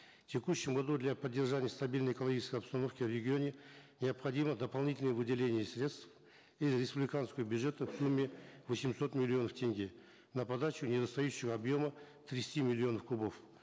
в текущем году для поддержания стабильной экологической обстановки в регионе необходимо дополнительное выделение средств из республиканского бюджета в сумме восемьсот миллионов тенге на подачу недостающего объема тридцати миллионов кубов